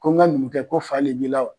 Ko n ka numukɛ ko fa le b'i la wa?